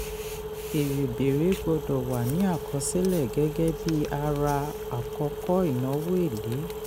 èrè bèrè gbọ́dọ̀ wà ní àkọsílẹ̀ gẹ́gẹ́ bí ara àkọ́kọ́ ìnáwó èlé.